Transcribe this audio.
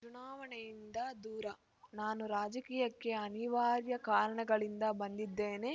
ಚುನಾವಣೆಯಿಂದ ದೂರ ನಾನು ರಾಜಕೀಯಕ್ಕೆ ಅನಿವಾರ್ಯ ಕಾರಣಗಳಿಂದ ಬಂದಿದ್ದೇನೆ